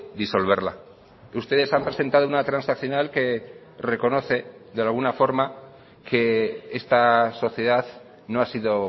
disolverla ustedes han presentado una transaccional que reconoce de alguna forma que esta sociedad no ha sido